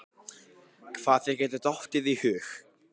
Hvað þér getur dottið í hug.